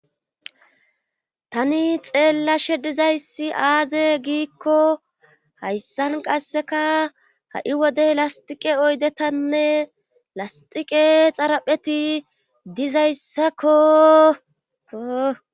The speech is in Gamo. tani xeellashe dizayssi aaze giikko hayssan qasseka ha'i wodey lastiqe oydetanne lastiqe xarapheti dizayssakko